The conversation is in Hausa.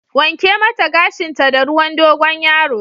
Wanke mata gashinta da ruwan Dogon yaro!